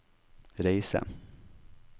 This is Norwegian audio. reise